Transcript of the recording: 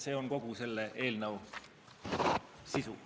See on kogu eelnõu sisu.